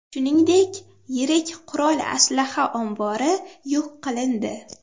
Shuningdek, yirik qurol-aslaha ombori yo‘q qilindi.